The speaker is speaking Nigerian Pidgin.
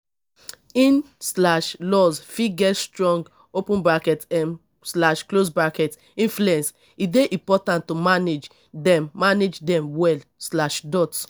in-laws fit get strong um influence; e dey important to manage dem manage dem well.